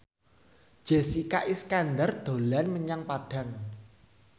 Jessica Iskandar dolan menyang Padang